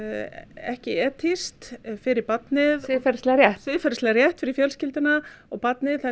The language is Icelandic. ekki etískt fyrir barnið siðferðislega rétt siðferðislega rétt fyrir fjölskylduna og barnið